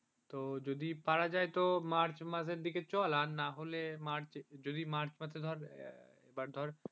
যদি পারা যায় তো মার্চ মাসের দিকে চল আর না হলে যদি মার্চ মাসে but ধর